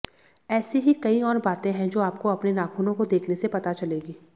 ऐसी ही कई और बातें हैं जो आपको अपने नाखूनों को देखने से पता चलेगी